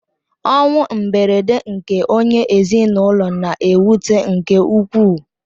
Ọnwụ mberede nke onye ezinụlọ na-ewute nke ukwuu.